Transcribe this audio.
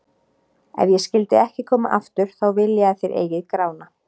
Ef ég skyldi ekki koma aftur, þá vil ég að þér eigið Grána.